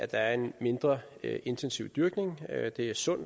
der er en mindre intensiv dyrkning og at det er sundt